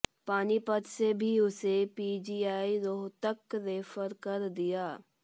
पानीपत से भी उसे पीजीआई रोहतक रेफर कर दिया